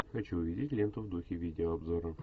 хочу увидеть ленту в духе видеообзоров